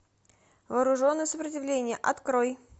вооруженное сопротивление открой